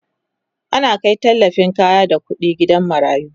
ana Kai tallafin kaya da ƙuɗi gidan marayu